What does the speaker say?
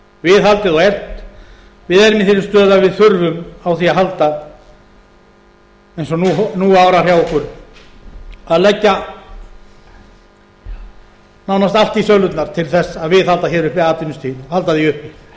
viðhaldið og eflt við erum í þeirri stöðu að við þurfum á því að halda eins og nú árar hjá okkur að leggja nánast allt í sölurnar til að viðhalda uppi atvinnustigi halda því uppi það hittist